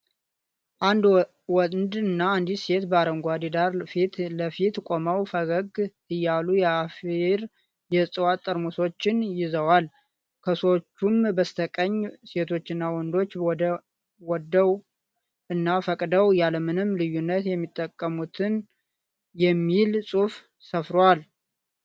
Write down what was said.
አንድ ወንድ እና አንዲት ሴት በአረንጓዴ ዳራ ፊት ለፊት ቆመው ፈገግ እያሉ የአፍሪ የእጽዋት ጠርሙሶችን ይዘዋል። ከሰዎቹም በስተቀኝ ሴቶች እና ወንዶች ወደው እና ፈቅደው ያለምንም ልዩነት የሚጠቀሙት የሚል ጽሁፍ ሰፍሯል።